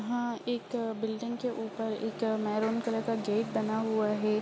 हाँ एक अ बिल्डिंग के ऊपर एक अ मैरून कलर का गेट बना हुआ है।